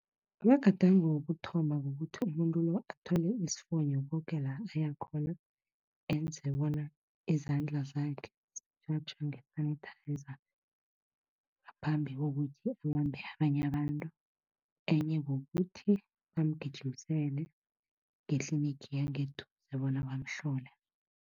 Amagadango wokuthoma kukuthi umuntu lo athwale isifonyo koke la aya khona, enze bona izandla zakhe zitjhatjha nge-sanitizer, ngaphambi kokuthi abambe abanye abantu. Enye kukuthi bamgijimisele ngetlinigi yangeduze, bona bamhlole.